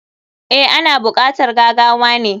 Eh, ana bukatar gagawane.